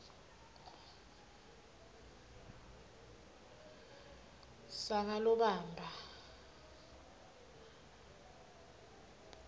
sakalobamba